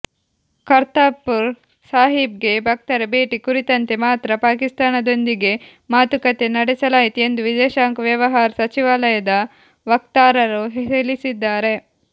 ಕರ್ತಾರ್ಪುರ್ ಸಾಹೀಬ್ಗೆ ಭಕ್ತರ ಭೇಟಿ ಕುರಿತಂತೆ ಮಾತ್ರ ಪಾಕಿಸ್ತಾನದೊಂದಿಗೆ ಮಾತುಕತೆ ನಡೆಸಲಾಯಿತು ಎಂದು ವಿದೇಶಾಂಗ ವ್ಯವಹಾರ ಸಚಿವಾಲಯದ ವಕ್ತಾರರು ತಿಳಿಸಿದ್ದಾರೆ